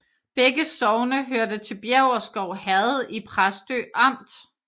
Begge sogne hørte til Bjæverskov Herred i Præstø Amt